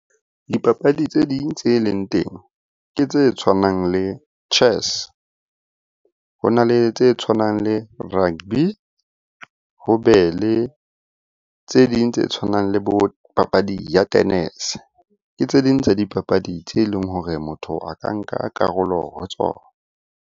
Dipapadi tse ding tse leng teng ke tse tshwanang le chess. Ho na le tse tshwanang le rugby, ho be le tse ding tse tshwanang le bo papadi ya tennis-e. Ke tse ding tsa dipapadi tse e leng hore motho a ka nka karolo ho tsona.